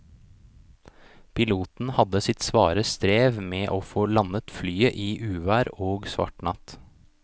Piloten hadde sitt svare strev med å få landet flyet i uvær og svart natt.